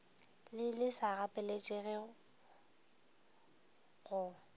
le le sa gapeletšegego go